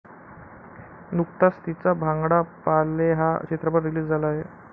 नुकताच तिचा भांगडा पा ले हा चित्रपट रिलीज झाला आहे.